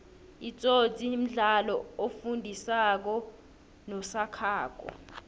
itsotsi mdlalo osifundi sako nosakhako